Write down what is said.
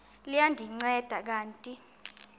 liya ndinceda kanti